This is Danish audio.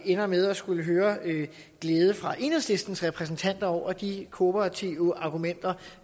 ender med at skulle høre en glæde fra enhedslistens repræsentanter over de kooperative argumenter